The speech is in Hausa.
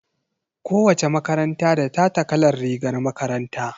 Ko wace makaranta da tata kalar rigar makaranta.